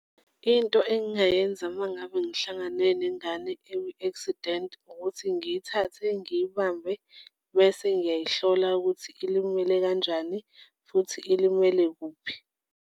Into engingayenza uma ngabe ngihlangane nengane ekwi-accident ukuthi ngiyithathe, ngiyibambe bese ngingayihlola ukuthi ilimele kanjani futhi ilimele kuphi.